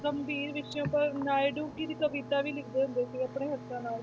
ਗੰਭੀਰ ਵਿਸ਼ੇ ਉੱਪਰ ਨਾਇਡੂ ਫਿਰ ਕਵਿਤਾ ਵੀ ਲਿਖਦੇ ਹੁੰਦੇ ਸੀ ਆਪਣੇ ਹੱਥਾਂ ਨਾਲ।